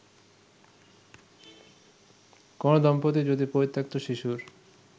কোন দম্পতি যদি পরিত্যক্ত শিশুর